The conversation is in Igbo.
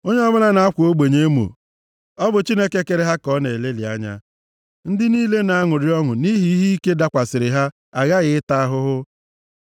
Onye ọbụla na-akwa ogbenye emo ọ bụ Chineke kere ha ka ọ na-elelị anya. Ndị niile na-aṅụrị ọṅụ nʼihi ihe ike dakwasịrị ha aghaghị ịta ahụhụ.